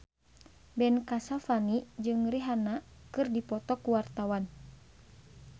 Ben Kasyafani jeung Rihanna keur dipoto ku wartawan